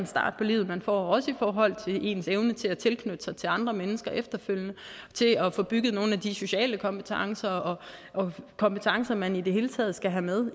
start på livet man får også i forhold til ens evne til at knytte sig til andre mennesker efterfølgende og til at at få bygget nogle af de sociale kompetencer og kompetencer man i det hele taget skal have med